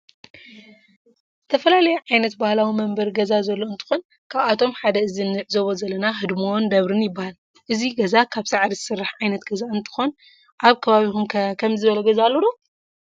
ዝተፈላለዩ ዓይነት ባህላዊ መንበረ ገዛ ዘሎ እንትኮን ካብአቶመ ሓደ እዚ እንዕዞቦ ዘለና ህድሞን ደብርን ይበሃል እዚ ገዛ ካብ ሳዕሪ ዝስራሕ ዓየነት ገዛ እንትክን አብ ከባቢኩም ከ ከምዚ ዝበለ ገዛ አሎ ዶ?